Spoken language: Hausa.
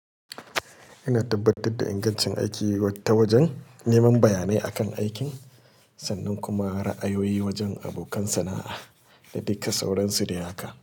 Ina tabbatar da ingancin aiki ta wajen neman bayanai akan aikin sannan kuma ra'ayoyi wajen abokan sana'a da duka sauransu dai haka.